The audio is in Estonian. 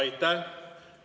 Aitäh!